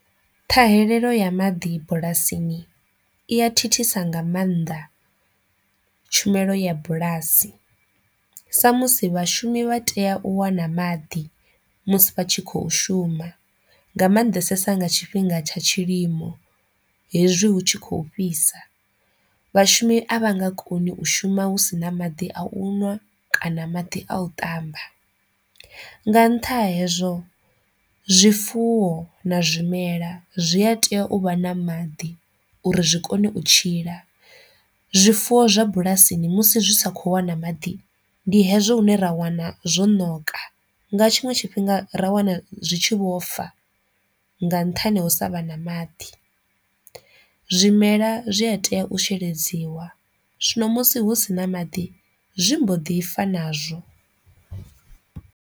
Ṱhahelelo ya maḓi bulasini iya thithisa nga maanḓa tshumelo ya bulasi sa musi vhashumi vha tea u wana maḓi musi vha tshi khou shuma nga mannḓesesa nga tshifhinga tsha tshilimo hezwi hu tshi kho fhisa, vhashumi a vhanga koni u shuma hu sina maḓi a u ṅwa kana maḓi a u ṱamba, nga ntha hezwo zwifuwo na zwimela zwi a tea u vha na maḓi uri zwi kone u tshila, zwifuwo zwa bulasini musi zwi sa kho wana maḓi ndi hezwo hune ra wana zwo ṋoka nga tshiṅwe tshifhinga ra wana zwi tshi vho fa nga nṱhani u sa vha na maḓi, zwimela zwi a tea u sheledziwa zwino musi hu sina maḓi zwi mbo ḓi fa nazwo.